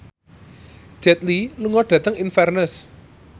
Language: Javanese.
Jet Li lunga dhateng Inverness